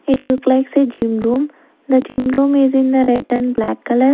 It look likes a gym room the gym room is in the red and black color.